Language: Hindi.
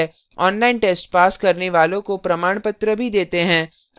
online test pass करने वालों को प्रमाणपत्र भी देते हैं